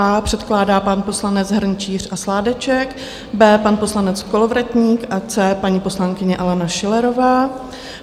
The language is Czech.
A předkládá pan poslanec Hrnčíř a Sládeček, B pan poslanec Kolovratník a C paní poslankyně Alena Schillerová.